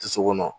Dusu kɔnɔ